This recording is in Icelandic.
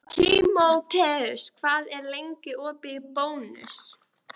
Tímoteus, hvað er lengi opið í Bónus?